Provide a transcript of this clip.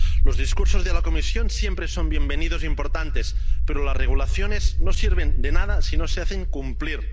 Los discursos de la Comisión siempre son bienvenidos y son importantes, pero las reglamentaciones no sirven de nada si no se hacen cumplir.